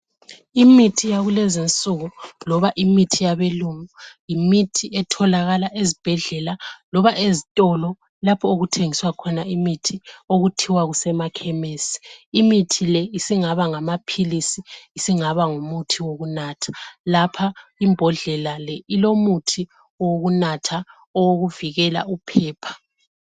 Imithi yakulezi insuku loba imithi yabe lungu, yimithi etholakala ezibhedlela loba ezitolo lapho okuthengiswa khona imithi okuthiwa kusema khemisi. Imithi le isingaba ngamaphilisi isingaba ngumuthi wokunatha, lapha imbodlela le ilomuthi owokunatha owokuvikela uphepha.